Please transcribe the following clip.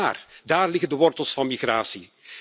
Daar liggen de wortels van migratie.